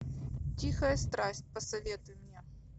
тихая страсть посоветуй мне